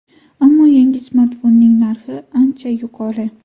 Ammo yangi smartfonning narxi ancha yuqori.